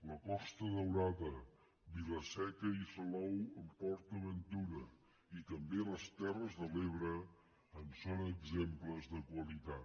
la costa daurada vilaseca i salou amb port aventura i també les terres de l’ebre en són exemples de qualitat